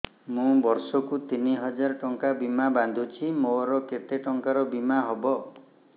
ମୁ ବର୍ଷ କୁ ତିନି ହଜାର ଟଙ୍କା ବୀମା ବାନ୍ଧୁଛି ମୋର କେତେ ଟଙ୍କାର ବୀମା ହବ